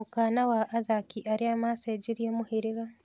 Mũkana wa athaki arĩa macenjirie mũhĩrĩga.